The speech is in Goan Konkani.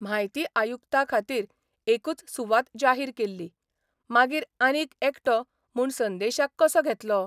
म्हायती आयुक्ता खातीर एकूच सुवात जाहीर केल्ली, मागीर आनीक एकटो म्हूण संदेशाक कसो घेतलो?